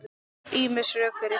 Ýmis rök eru tínd til.